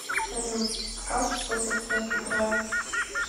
салют скаж что за трек играет